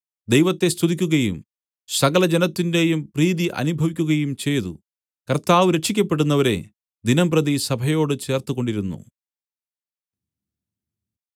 ദൈവത്തെ സ്തുതിക്കുകയും സകലജനത്തിന്റെയും പ്രീതി അനുഭവിക്കയും ചെയ്തു കർത്താവ് രക്ഷിയ്ക്കപ്പെടുന്നവരെ ദിനംപ്രതി സഭയോട് ചേർത്തുകൊണ്ടിരുന്നു